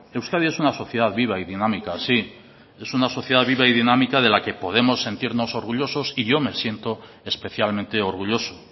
euskadi es una sociedad viva y dinámica sí es una sociedad viva y dinámica de la que podemos sentirnos orgullosos y yo me siento especialmente orgulloso